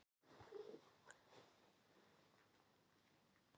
Já drengur minn, ég er nú ansi hrædd um það, svaraði hún og lokaði hjartanu.